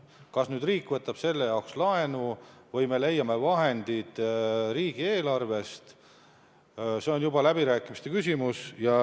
Kas riik võtab selle jaoks laenu või me leiame vahendid riigieelarvest, see on juba läbirääkimiste küsimus.